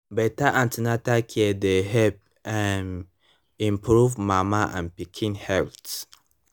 better an ten atal care dey help um improve mama and pikin health